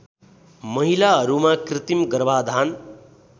महिलाहरूमा कृत्रिम गर्भाधान